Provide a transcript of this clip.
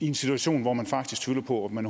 i en situation hvor man faktisk tvivler på om man